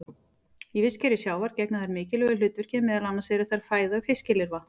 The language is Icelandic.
Í vistkerfi sjávar gegna þær mikilvægu hlutverki, meðal annars eru þær fæða fiskilirfa.